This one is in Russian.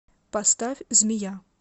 поставь змея